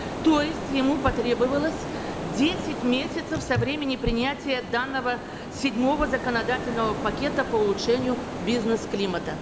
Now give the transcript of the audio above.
то есть ему потребовалось десять месяцев со времени принятия данного седьмого законодательного пакета по улучшению бизнес климата